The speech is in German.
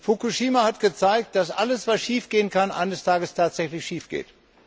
Fukushima hat gezeigt, dass alles, was schiefgehen kann, eines Tages tatsächlich schiefgeht.